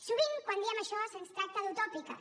sovint quan diem això se’ns tracta d’utòpiques